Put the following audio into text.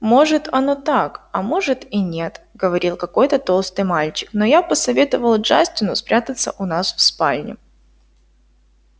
может оно так а может и нет говорил какой-то толстый мальчик но я посоветовал джастину спрятаться у нас в спальне